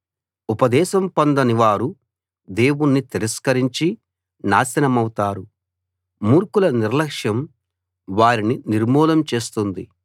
ఉపదేశం పొందని వారు దేవుణ్ణి తిరస్కరించి నాశనమవుతారు మూర్ఖుల నిర్లక్ష్యం వారిని నిర్మూలం చేస్తుంది